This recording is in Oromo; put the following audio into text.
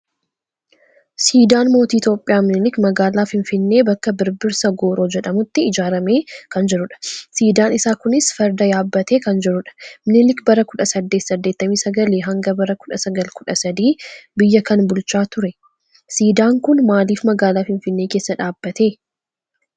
Siidaan Mootii Itoophiyaa Minilik magaalaa Finfinnee bakka Birbirsa Gooroo jedhamutti ijaarramee kan jirudha. Siidaan isaa kunis farda yaabbatee kan jirudha. Minilik bara 1889 hanga bara 1913 biyya kan bulchaa ture. Siidaan kun maalif magaalaa Finfinnee keessa dhaabbate?